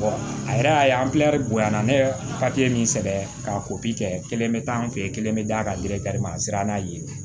a yɛrɛ y'a ye an bonya na ne bɛ papiye min sɛbɛn ka kɛ kelen bɛ taa an fɛ yen kelen bɛ d'a kan a sera n'a ye yen